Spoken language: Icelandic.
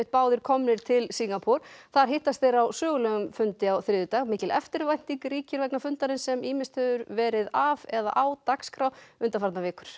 báðir komnir til Singapúr þar hittast þeir á sögulegum fundi á þriðjudag mikil eftirvænting ríkir vegna fundarins sem ýmist hefur verið af eða á dagskrá undanfarnar vikur